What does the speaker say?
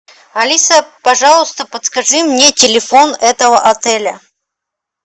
алиса пожалуйста подскажи мне телефон этого отеля